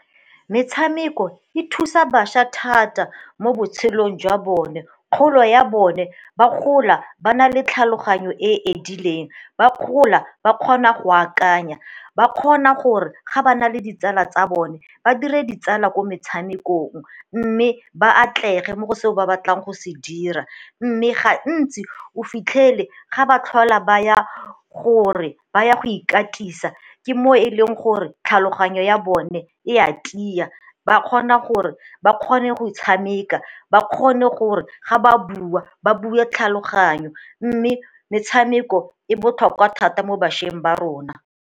Metshameko e thusa bašwa thata mo botshelong jwa bone, kgolo ya bone ba gola ba na le tlhaloganyo e e edileng ba gola ba kgona go akanya ba kgona gore ga ba na le ditsala tsa bone ba dire di tsala ko metshamekong mme ba atlege mo go se ba batlang go se dira. Mme gantsi o fitlhele ga ba tlhola ba ya gore ba ya go ikatisa ke mo e leng gore tlhaloganyo ya bone e a tlisa ba kgona gore ba kgone go e tshameka ba kgone gore ga ba bua ba bue tlhaloganyo mme metshameko e botlhokwa thata mo bašweng ba rona.